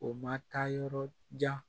O ma taa yɔrɔ jan